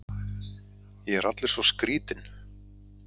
Ég er allur svo skrýtinn.